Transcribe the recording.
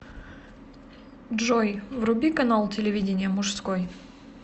джой вруби канал телевидения мужской